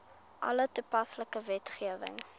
alle toepaslike wetgewing